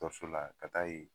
Dɔrso la ka taa yen.